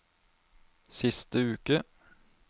siste uke